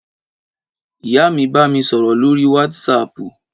Ìyá mi bá mi sọ̀rọ̀ lóríi wátísapù